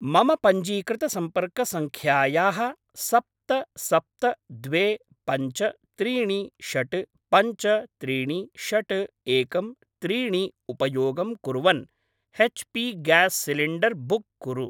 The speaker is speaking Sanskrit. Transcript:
मम पञ्जीकृतसम्पर्कसङ्ख्यायाः सप्त सप्त द्वे पञ्च त्रीणि षड् पञ्च त्रीणि षड् एकं त्रीणि उपयोगं कुर्वन् H P gas cylinder book कुरु।